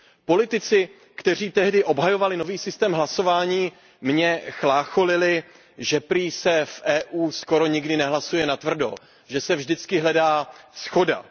Politici, kteří tehdy obhajovali nový systém hlasování, mě chlácholili, že prý se v Evropské unii skoro nikdy nehlasuje natvrdo, že se vždycky hledá shoda.